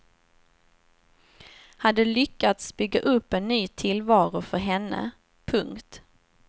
Hade lyckats bygga upp en ny tillvaro för henne. punkt